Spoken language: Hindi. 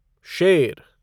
शेर